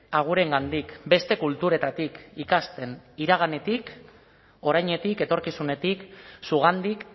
agurengandik beste kulturetatik ikasten iraganetik orainetik etorkizunetik zugandik